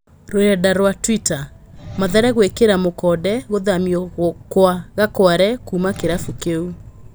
(Rũrenda rwa twita) Mathare gwĩ kĩ ra mukonde gũthamio kwa Gakware kuma kĩ rabu kĩ u.